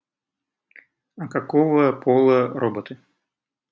а какого пола роботы